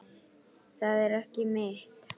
Það er ekki mitt.